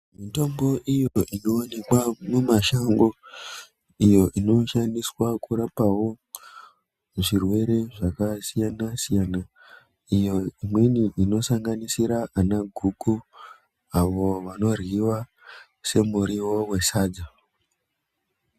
Mitombo iyo inoonekwa mumashango, iyo inoshandiswa kurapawo, zvirwere zvakasiyana-siyana, iyo imweni inosanganisira ana guku, avo anoryiwa somuriwo wesadza.